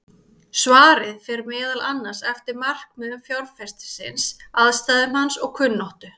Svarið fer meðal annars eftir markmiðum fjárfestisins, aðstæðum hans og kunnáttu.